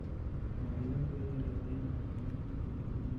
Muwaadiniintu waa inay raadiyaan macluumaadka diiwaangelinta.